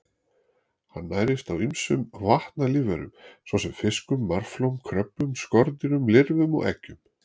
Hann nærist á ýmsum vatnalífverum svo sem fiskum, marflóm, kröbbum, skordýrum, lirfum og eggjum.